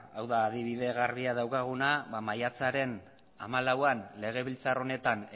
hau da adibide garbia daukaguna maiatzaren hamalauean legebiltzar honetan